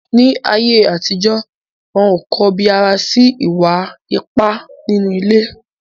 Ni ayé àtijọ́, wọn ò kọbi ara sí ìwà ipá nínú ilé.